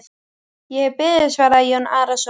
Ég hef beðið, svaraði Jón Arason.